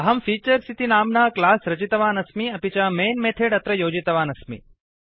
अहं फीचर्स् इति नाम्ना क्लास रचितवान् अस्मि अपि च मैन् मेथेड् अत्र योजितवान् अस्मि